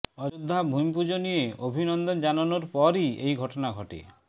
অযোধ্যা ভূমিপুজো নিয়ে অভিনন্দন জানানোর পরই এই ঘটনা ঘটে